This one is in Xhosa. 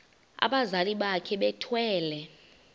abazali bakhe bethwele